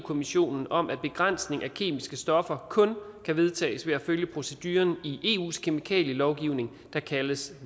kommissionen om at begrænsning af kemiske stoffer kun kan vedtages ved at følge proceduren i eus kemikalielovgivning der kaldes